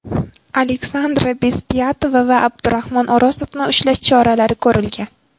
Aleksandra Bezpyatova va Abdurahmon O‘rozovni ushlash choralari ko‘rilgan.